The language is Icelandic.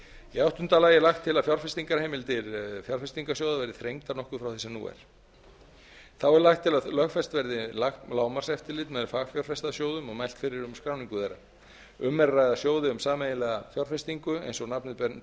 í níunda lagi er lagt til að fjárfestingarheimildir fjárfestingarsjóða verði þrengdar nokkuð frá því sem nú er þá er lagt til að lögfest verði lágmarkseftirlit með fagfjárfestasjóðum og mælt fyrir um skráningu þeirra um er að ræða sjóði um sameiginlega fjárfestingu sem eins og nafnið